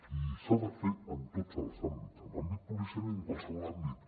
i s’ha de fer en tots els àmbits en l’àmbit policial i en qualsevol àmbit